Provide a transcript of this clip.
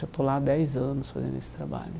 Já estou lá há dez anos fazendo esse trabalho.